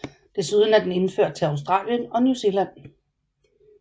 Desuden er den indført til Australien og New Zealand